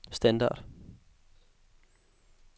standard